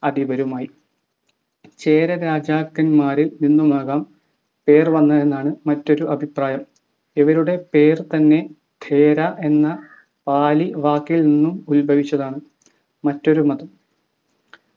അധിപരുമായി ചേര രാജാക്കന്മാരിൽ നിന്നുമാകാം പേർ വന്നതെന്നാണ് മറ്റൊരു അഭിപ്രായം. ഇവരുടെ പേർ തന്നെ എന്ന പാലി വാക്കിൽ നിന്നും ഉത്ഭവിച്ചതാണ്. മറ്റൊരു മതം